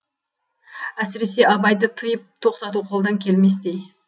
әсіресе абайды тыйып тоқтату қолдан келместей